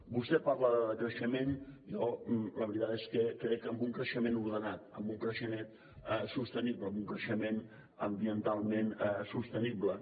vostè parla de decreixement jo la veritat és que crec en un creixement ordenat en un creixement sostenible en un creixement ambientalment sostenible